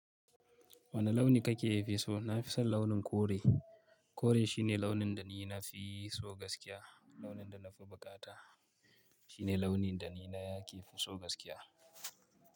Wane launi kake fiso? Na fi son launin kore. Kore shine launin da ni na fi so gaskiya. Launin da na fi bukata shine launin da ni nake fiso gaskiya.